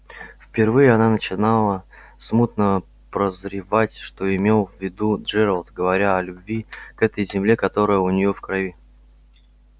впервые она начинала смутно прозревать что имел в виду джералд говоря о любви к этой земле которая у нее в крови